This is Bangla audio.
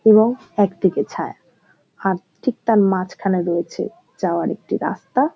এবং একদিকে ছায়া আর ঠিক তাঁর মাঝখানে রয়েছে যাওয়ার একটি রাস্তা-আ।